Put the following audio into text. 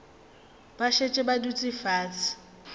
ba šetše ba dutše fase